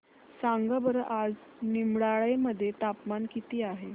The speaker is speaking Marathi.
सांगा बरं आज निमडाळे मध्ये तापमान किती आहे